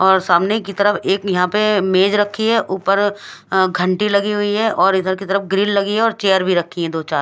और सामने की तरफ एक यहाँ पे मेज रखी है ऊपर अ- घंटी लगी हुई है और इधर की तरफ ग्रील रखी है और चेयर भी रखी है दो चार--